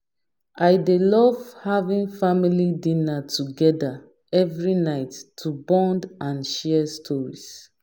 I dey love having family dinner together every night to bond and share stories.